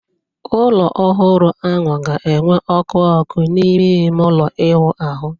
Ụlọ ọhụrụ ahụ ga-enwe ọkụ ọkụ n'ime ime ụlọ ịwụ ahụ